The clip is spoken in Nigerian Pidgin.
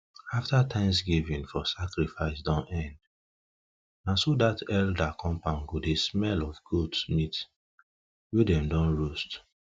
afta thanksgiving for sacrifice don end na so that elder compound go dey smell of goat meat wey them don roast